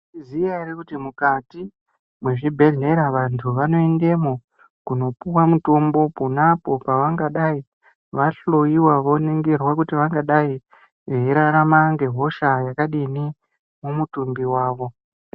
Mwaizviziya ere kuti mukati mwezvibhedhera vantu vanoendemwo kunopiwa mutombo, ponapo pavangadai vahloiwa voningirwa kuti vangadai veirarama ngehosha yakadini, mumutumbi wavo.